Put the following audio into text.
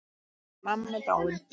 Hún amma er dáin.